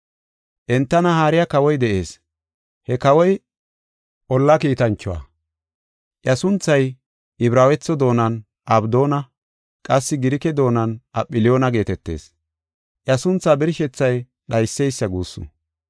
Entana haariya kawoy de7ees; he kawoy olla kiitanchuwa. Iya sunthay Ibraawetho doonan Abdoona; qassi Girike doonan Apholiyoona geetetees. Iya sunthaa birshethay “Dhayseysa” guussu.